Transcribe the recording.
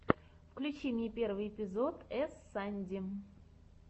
включи мне первый эпизод эс санди